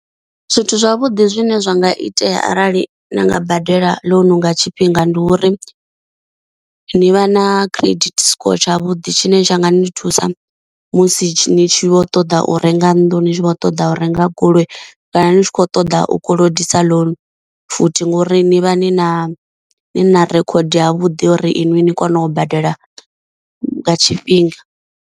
Zwithu zwavhuḓi zwine zwa nga itea arali na nga badela ḽounu nga tshifhinga ndi uri, ni vha na credit score tshavhuḓi tshine tsha nga ni thusa musi ni tshi vho ṱoḓa u renga nnḓu ni tshi kho ṱoḓa u renga goloi kana ni tshi kho ṱoḓa u kolodisa loan futhi, ngori ni vha ni na ni na record yavhudi uri inwi ni kone u badela nga tshifhinga.